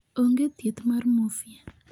Onge thieth mar morphea